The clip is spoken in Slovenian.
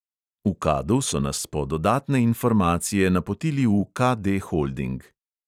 V kadu so nas po dodatne informacije napotili tudi v KD holding.